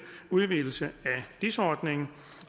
udvidelse af dis ordningen